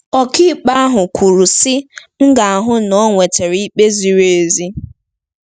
Ọkàikpe ahụ kwuru, sị: " M ga-ahụ na o nwetara ikpe ziri ezi ."